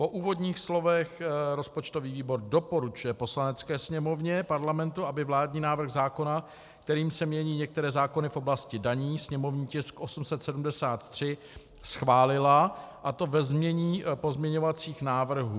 Po úvodních slovech rozpočtový výbor doporučuje Poslanecké sněmovně Parlamentu, aby vládní návrh zákona, kterým se mění některé zákony v oblasti daní, sněmovní tisk 873, schválila, a to ve znění pozměňovacích návrhů.